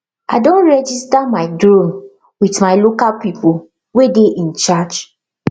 i don registar my drone with my local people wey dey in charge